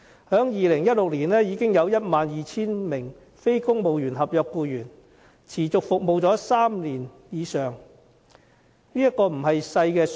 在2016年，便已有 12,000 名非公務員合約僱員持續服務了3年以上，數目不小。